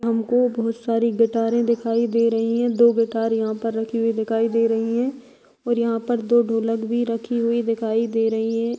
हमको बहुत शारी गिटारे दिखाई दे रही हैं दो गिटार यहाँ पर रखी दिखाई दे रही हैं और यहाँ पर दो ढोलक भी रखी हुई दिखाई दे रही हैं।